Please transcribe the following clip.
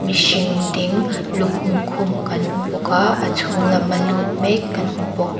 mihring ding lukhum khum kan hmu bawka a chhung lama lut mek kan hmu bawk